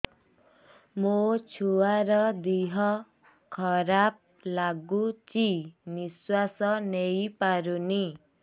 ମୋ ଛୁଆର ଦିହ ଖରାପ ଲାଗୁଚି ନିଃଶ୍ବାସ ନେଇ ପାରୁନି